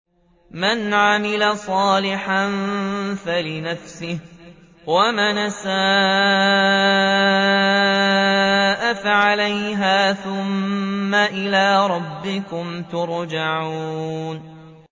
مَنْ عَمِلَ صَالِحًا فَلِنَفْسِهِ ۖ وَمَنْ أَسَاءَ فَعَلَيْهَا ۖ ثُمَّ إِلَىٰ رَبِّكُمْ تُرْجَعُونَ